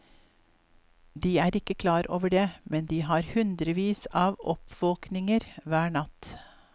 De er ikke klar over det, men de har hundrevis av oppvåkninger hver natt.